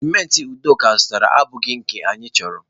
cimenti udoka zụtara abụghị nke anyị chọrọ